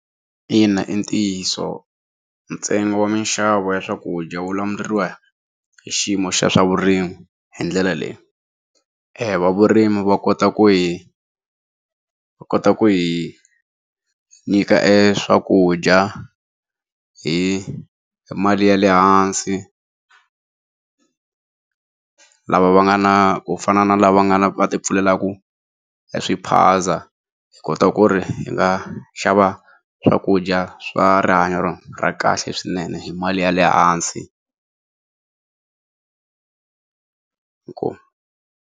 Ina, i ntiyiso ntsengo wa minxavo ya swakudya wu lawuriwa hi xiyimo xa swavurimi hi ndlela leyi,, va vurimi va kota ku hi va kota ku hi nyika eswakudya hi mali ya lehansi lava va nga na ku fana na lava nga na va ti pfulelaku eswiphaza hi kota ku ri hi nga xava swakudya swa rihanyo ra kahle swinene hi mali ya le hansi inkomu.